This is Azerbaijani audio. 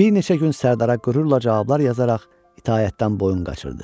bir neçə gün Sərdara qürurla cavablar yazaraq itaətdən boyun qaçırdı.